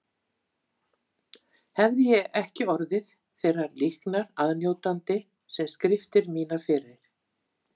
Hefði ég ekki orðið þeirrar líknar aðnjótandi sem skriftir mínar fyrir